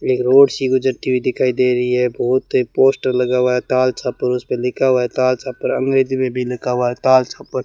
एक रोड सी गुजरती हुई दिखाई दे रही है बहोत है पोस्टर लगा हुआ है ताल छापर उसे पे लिखा हुआ है ताल छापर अंग्रेजी में भी लिखा हुआ है ताल छापर।